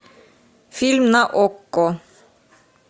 фильм на окко